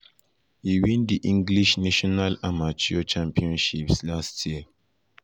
e win di english national amateur championships um last year.